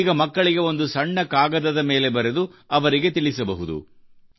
ನೀವು ಈಗ ಮಕ್ಕಳಿಗೆ ಒಂದು ಸಣ್ಣ ಕಾಗದದ ಮೇಲೆ ಬರೆದು ಅವರಿಗೆ ತಿಳಿಸಬಹುದು